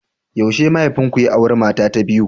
Yaushe mahaifinku ya auri mata ta biyu?